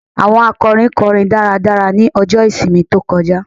Àwọn akọrin kọrin dáradára ní ọjọ́ ìsinmi tó kọjá